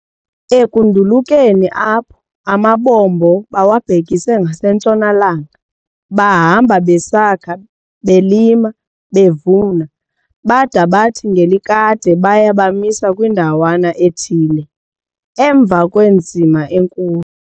Ekundulukeni apho, amabombo bawabhekise ngasentshona-langa, bahamba besakha, belima, bevuna, bada bathi ngelikade baya bamisa kwindawana ethile, emva kwenzima enkulu.